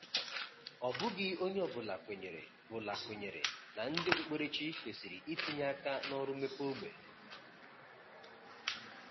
Ọ bụghị onye ọ bụla kwenyere bụla kwenyere na ndị okpukperechi kwesịrị itinye aka na ọrụ mmepe ógbè.